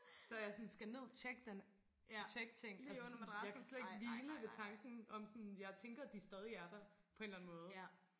Så jeg sådan skal ned tjek den tjek ting altså sådan jeg kan slet ikke hvile ved tanken om sådan jeg tænker de stadigvæk er der på en eller anden måde